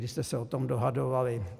Vy jste se o tom dohadovali.